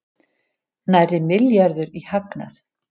Nærri milljarður í hagnað